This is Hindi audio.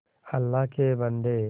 अल्लाह के बन्दे